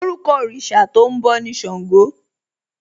Orúkọ òrìṣà tó ń bọ̀ ni Ṣàngó